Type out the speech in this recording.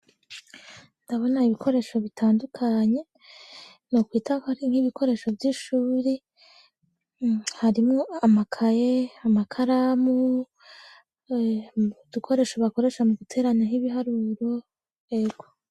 Ndabona ibikoresho bitandukanye nokwita ko ari nk'ibikoresho vy'ishuri, harimwo amakaye, amakaramu, udukoresho bakoresha mu guterana nk'ibiharuro ego.